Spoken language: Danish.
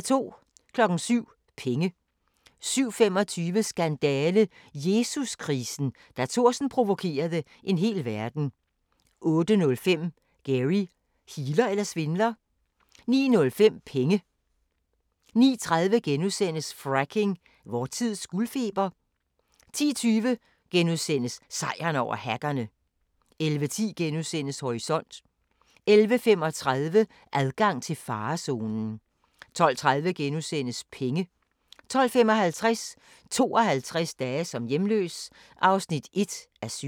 07:00: Penge 07:25: Skandale – Jesus-krisen: Da Thorsen provokerede en hel verden 08:05: Gary – healer eller svindler? 09:05: Penge 09:30: Fracking – vor tids guldfeber? * 10:20: Sejren over hackerne! * 11:10: Horisont * 11:35: Adgang til farezonen 12:30: Penge * 12:55: 52 dage som hjemløs (1:7)